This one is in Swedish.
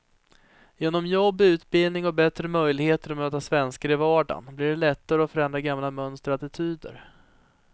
Genom jobb, utbildning och bättre möjligheter att möta svenskar i vardagen blir det lättare att förändra gamla mönster och attityder.